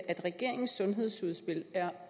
at regeringens sundhedsudspil er